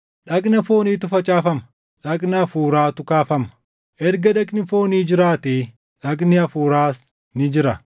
dhagna fooniitu facaafama; dhagna hafuuraatu kaafama. Erga dhagni foonii jiraate, dhagni hafuuraas ni jira.